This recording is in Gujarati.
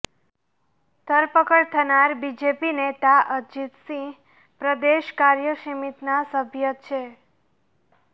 ધરપકડ થનાર બીજેપી નેતા અજીત સિંહ પ્રદેશ કાર્યસમિતિના સભ્ય છે